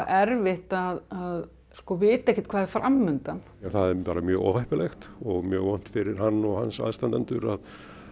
erfitt að vita ekkert hvað er fram undan það er mjög óheppilegt og mjög vont fyrir hann og hans aðstandendur að